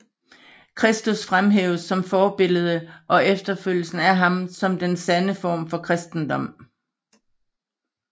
Kristus fremhæves som forbillede og efterfølgelsen af ham som den sande form for kristendom